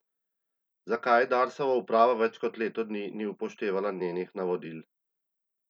Zakaj Darsova uprava več kot leto dni ni upoštevala njenih navodil?